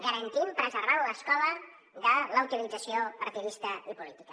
garantint preservar l’escola de la utilització partidista i política